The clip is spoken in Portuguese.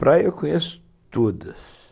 Praia eu conheço todas.